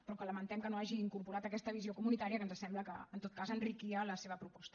però que lamentem que no hagi incorporat aquesta visió comunitària que ens sembla que en tot cas enriquia la seva proposta